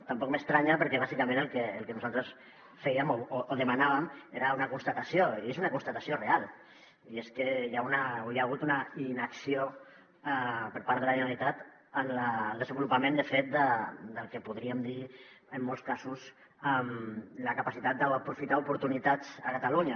tampoc m’estranya perquè bàsicament el que nosaltres fèiem o demanàvem era una constatació i és una constatació real i és que hi ha hagut una inacció per part de la generalitat en el desenvolupament de fet del que en podríem dir en molts casos la capacitat d’aprofitar oportunitats a catalunya